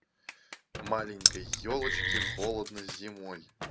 маленькой ёлочке холодно зимой